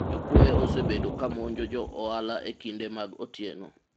jokwoye osebedo kamonjo jo ohala e kinde mag otieno